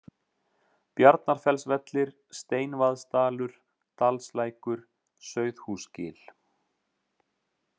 Bjarnarfellsvellir, Steinvaðsdalur, Dalslækur, Sauðhúsgil